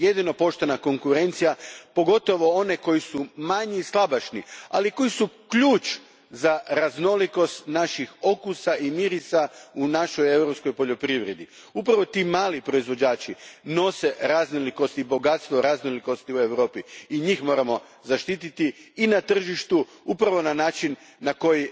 Jedino poštena konkurencija, pogotovo oni koji su manji, slabašni, ali koji su ključ za raznolikost naših okusa i mirisa u našoj europskoj poljoprivredi, upravo ti mali proizvođači nose raznolikost i bogatstvo raznolikosti u Europi i njih moramo zaštititi i na tržištu, upravo na način na koji